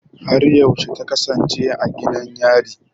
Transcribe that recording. Har yaushe ta kasance a gidan yari?